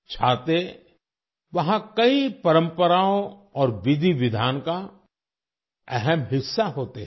छाते वहाँ कई परंपराओं और विधि विधान का अहम हिस्सा होते हैं